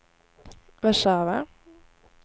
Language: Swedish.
Warszawa